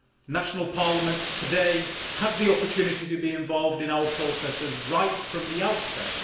National parliaments today have the opportunity to be involved in our processes right from the outset.